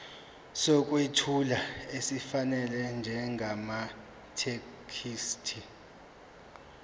sokwethula esifanele njengamathekisthi